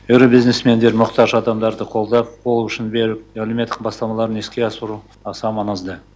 ірі бизнесмендер мұқтаж адамдарды қолдап қол ұшын беріп әлеуметтік бастамаларын іске асыруы аса маңызды